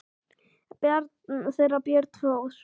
Barn þeirra er Björn Þór.